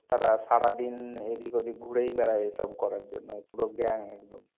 তারা সারাদিন এদিক ওদিক ঘুরেই বেড়ায় এসব করার জন্য, পুরো gang একদম।